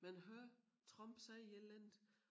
Man hører Trump sige et eller andet